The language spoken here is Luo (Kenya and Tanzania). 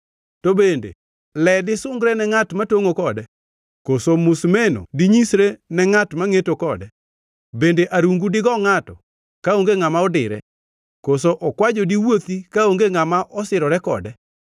To bende le disungre ne ngʼat matongʼo kode, koso musimeno dinyisre ne ngʼat ma ngʼeto kode? Bende arungu digo ngʼato kaonge ngʼama odire, koso okwajo diwuothi kaonge ngʼama osirore kode?